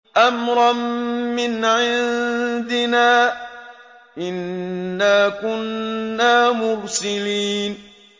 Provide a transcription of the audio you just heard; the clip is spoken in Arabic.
أَمْرًا مِّنْ عِندِنَا ۚ إِنَّا كُنَّا مُرْسِلِينَ